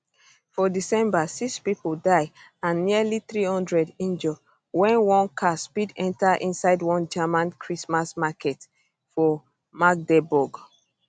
for december six pipo die and nearly 300 injure wen one car speed enta inside one german christmas market for magdeburg